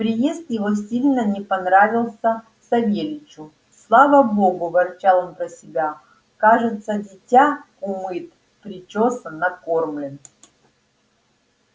приезд его сильно не понравился савельичу слава богу ворчал он про себя кажется дитя умыт причёсан накормлен